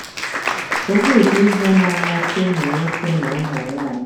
Kedu ụdị ihe na-amasị ụmụ nwoke na nwanyị?